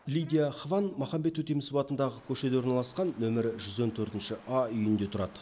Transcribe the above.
лидия хван маханбет өтемісов атындағы көшеде орналасқан нөмірі жүз он төртінші а үйінде тұрады